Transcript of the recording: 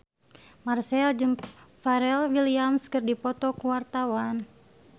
Marchell jeung Pharrell Williams keur dipoto ku wartawan